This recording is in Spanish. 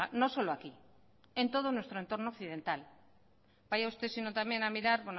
no solo aquí en todo nuestro entorno occidental vaya usted sino también a mirar